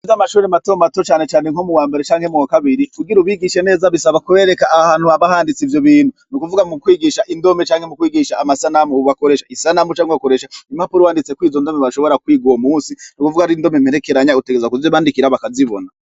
Ve amashuri mato mato canecane nko mu wa mbere canke mu kabiri kugira ubigishe neza bisaba kubereka ahantu habahanditse ivyo bintu ni ukuvuga mu kwigisha indome canke mu kwigisha amasanamu bubakoresha isanamu canke ubakoresha impapura wanditseko izo ndome bashobora kwiga uwo musi ni kuvuga ari indome mperekeranya utegezwa kuje bandikira bakazibona.